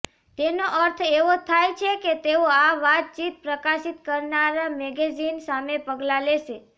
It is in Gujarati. તેનો અર્થ એવો થાય છે કે તેઓ આ વાતચીત પ્રકાશિત કરનારા મેગેઝીન સામે પગલાં લેશે